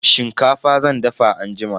Shinkafa zan dafa anjima.